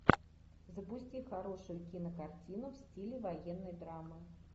запусти хорошую кинокартину в стиле военной драмы